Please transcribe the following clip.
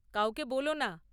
কাউকে বোলো না।